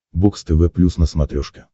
бокс тв плюс на смотрешке